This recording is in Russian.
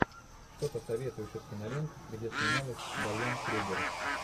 что посоветуешь из кинолент где снималась дайан крюгер